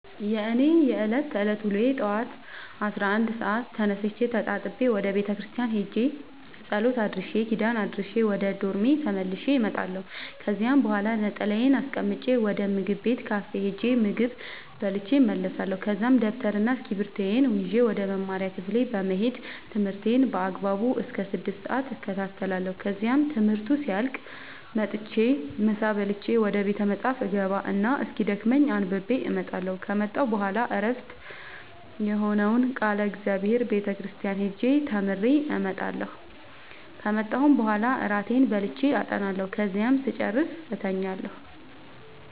የእኔ የዕለት ተዕለት ውሎዬ ጠዋት አስራ አንድ ሰአት ተነስቼ ተጣጥቤ ወደ ቤተክርስቲያን ሄጄ ጸሎት አድርሼ ኪዳን አድርሼ ወደ ዶርሜ ተመልሼ እመጣለሁ ከዚያ በኋላ ነጠላዬን አስቀምጬ ወደ ምግብ ቤት ካፌ ሄጄ ምግብ በልቼ እመለሳለሁ ከዛ ደብተርና እስኪብርቶዬን ይዤ ወደ መማሪያ ክፍሌ በመሄድ ትምህርቴን በአግባቡ እስከ ስድስት ሰአት እከታተላለሁ ከዚያም ትምህርቱ ሲያልቅ መጥቼ ምሳ በልቼ ወደ ቤተ መፅሀፍ እገባ እና እስኪደክመኝ አንብቤ እመጣለሁ ከመጣሁ በኋላ ዕረፍት የሆነውን ቃለ እግዚአብሔር ቤተ ክርስቲያን ሄጄ ተምሬ እመጣለሁ ከመጣሁም በኋላ እራቴን በልቼ አጠናለሁ ከዚያም ስጨርስ እተኛለሁ።